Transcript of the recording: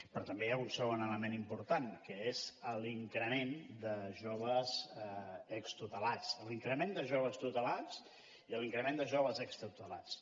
però també hi ha un segon element important que és l’increment de joves extutelats l’increment de joves tutelats i l’increment de joves extutelats